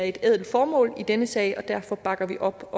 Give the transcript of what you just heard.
et ædelt formålet i denne sag og derfor bakker vi op